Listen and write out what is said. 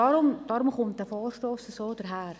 Deshalb kommt dieser Vorstoss so daher.